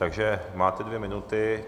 Takže máte dvě minuty.